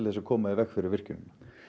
að koma í veg fyrir virkjunina